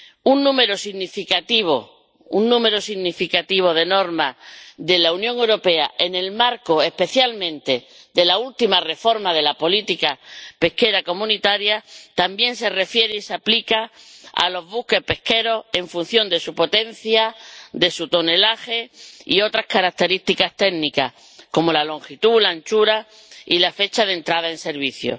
Un número significativo de normas de la Unión Europea, en el marco especialmente de la última reforma de la política pesquera común, también se refiere y se aplica a los buques pesqueros en función de su potencia, de su tonelaje y otras características técnicas como la longitud, la anchura y la fecha de entrada en servicio.